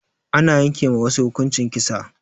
Ana yanke ma wasu hukuncin kisa.